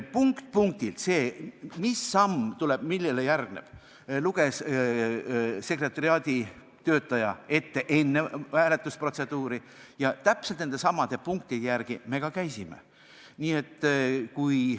Punkt-punktilt luges sekretariaadi töötaja enne hääletusprotseduuri ette, mis samm millele järgneb, ja täpselt nendesamade punktide järgi me ka käitusime.